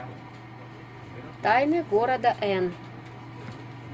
тайны города эн